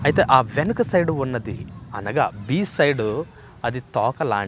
అయితే ఆ వెనక సైడు ఉన్నది అనగా సైడు అది తోకలాం--